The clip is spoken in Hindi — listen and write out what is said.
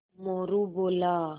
मोरू बोला